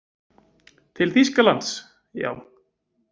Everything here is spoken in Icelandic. Til Þýskalands, já.